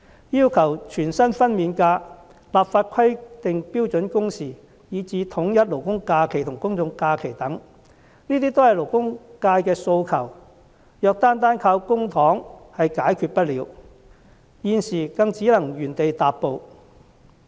要求全薪的產假、立法規定標準工時，以至統一勞工假期和公眾假期等，這些都是勞工界的訴求，如果單單靠公帑是解決不了的，現時便只能原地踏步。